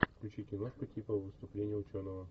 включи киношку типа выступление ученого